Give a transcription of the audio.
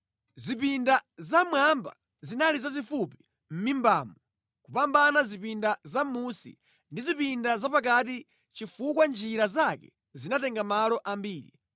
Zipinda zammwamba zinali zazifupi mʼmimbamu kupambana zipinda zamʼmunsi ndi zipinda zapakati chifukwa njira zake zinatenga malo ambiri.